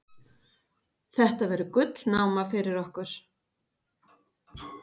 Þetta verður gullnáma fyrir okkur.